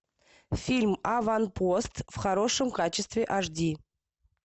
фильм аванпост в хорошем качестве аш ди